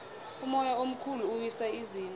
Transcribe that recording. umoya omkhulu uwisa izindlu